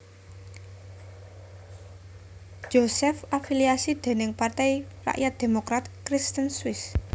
Josef afiliasi dèning Partai Rakyat Demokrat Kristen Swiss